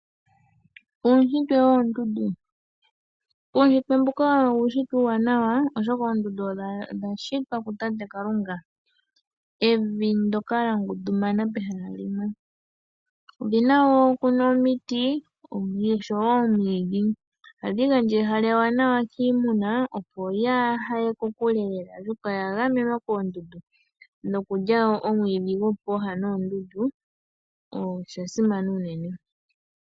Uunshitwe woondundu owo uunshitwe uuwanawa oshoka oondundu odha shitwa kuku Tate Kalunga . Evi ndyoka lyangundumana pehala limwe . Olina wo omiti noshowoo omwiidhi . Ohadhi gandja ehala ewanawa kiimuna opo yaahaye kokule lela shaashi oyagamenwa koondundu. Nokulya woo omwiidhi gopooha dhoondundu , oshili shasimana.